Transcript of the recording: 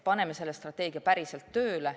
Paneme selle strateegia päriselt tööle.